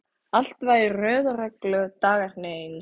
Allt var í röð og reglu, dagarnir eins.